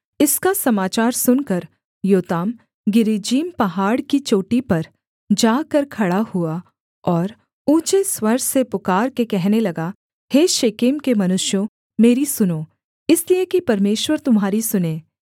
इसका समाचार सुनकर योताम गिरिज्जीम पहाड़ की चोटी पर जाकर खड़ा हुआ और ऊँचे स्वर से पुकारके कहने लगा हे शेकेम के मनुष्यों मेरी सुनो इसलिए कि परमेश्वर तुम्हारी सुने